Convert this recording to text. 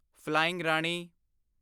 flying Rani